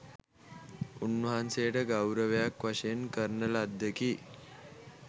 උන්වහන්සේට ගෞරවයක් වශයෙන් කරන ලද්දකි.